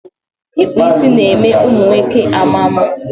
Ịkpụ isi ná-eme ụmụ nwoke maa mma.